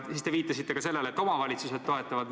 Te viitasite ka sellele, et omavalitsused toetavad.